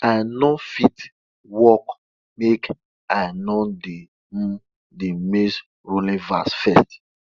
i no fit start work makei no dey hum de maizerowing verse first